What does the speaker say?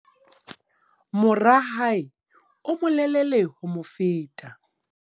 Mora hae o molelele ho mo feta.